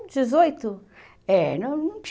dezoito? É, não